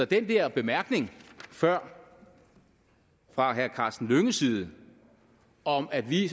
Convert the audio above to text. den der bemærkning før fra herre karsten hønges side om at vi